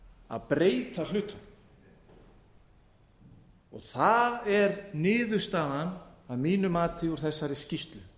að breyta hlutunum og það er niðurstaðan að mínu mati úr þessari skýrslu það